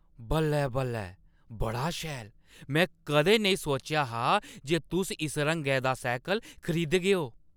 बल्लै-बल्लै, बड़ा शैल ! मैं कदें नेईं सोचेआ हा जे तुस इस रंगै दा सैह्कल खरीदगेओ।